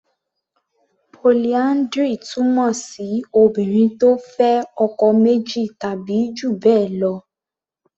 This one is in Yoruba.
Polyndry túmọ̀ sí Obìnrin tó fẹ́ ọkọ méjì tàbí jù bẹ́ẹ̀ lọ.